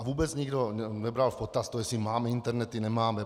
A vůbec nikdo nebral v potaz to, jestli máme internety, nemáme.